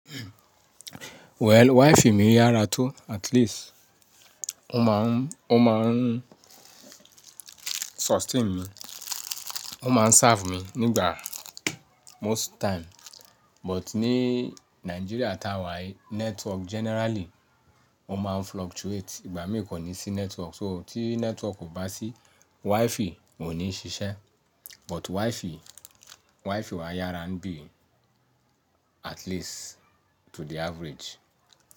Well, Wi-Fi mi yára tó at least ó máa ń, ó máa ń sustain mi. Ó máa ń serve mi nígbà most time. But ní Nigeria táwà yí network generally ó máa ń fluctuate. Ìgbà mìíràn kò ní sí network. So tí network ò bá sí Wi-Fi kò ní ṣiṣẹ́. But Wi-Fi, Wi-Fi wa yára ń bí at least to the average.